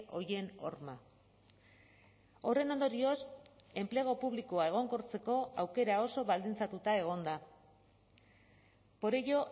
horien horma horren ondorioz enplegu publikoa egonkortzeko aukera oso baldintzatuta egon da por ello